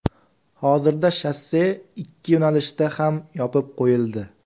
Hozirda shosse ikki yo‘nalishda ham yopib qo‘yildi.